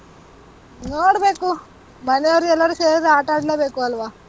ನೋಡ್ಬೇಕು. ಮನೆಯವ್ರು ಎಲ್ಲರೂ ಸೇರಿದ್ರೆ ಆಟಾಡ್ಲೇಬೇಕು ಅಲ್ವಾ?